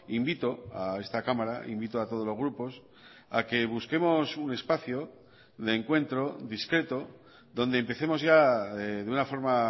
invito a esta cámara invito a todos los grupos a que busquemos un espacio de encuentro discreto donde empecemos ya de una forma